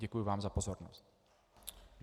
Děkuji vám za pozornost.